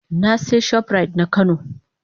Na sayi shoprite na kano.